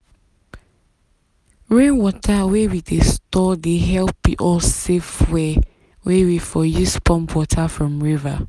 rainwater wey we wey we store dey help us save fuel wey we for use pump water from river.